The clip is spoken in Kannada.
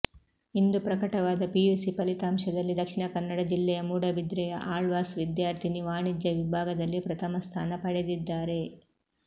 ಇಂದು ಪ್ರಕಟವಾದ ಪಿಯುಸಿ ಫಲಿತಾಂಶದಲ್ಲಿ ದಕ್ಷಿಣ ಕನ್ನಡ ಜಿಲ್ಲೆಯ ಮೂಡಬಿದ್ರೆಯ ಆಳ್ವಾಸ್ ವಿದ್ಯಾರ್ಥಿನಿ ವಾಣಿಜ್ಯ ವಿಭಾಗದಲ್ಲಿ ಪ್ರಥಮ ಸ್ಥಾನ ಪಡೆದಿದ್ದಾರೆ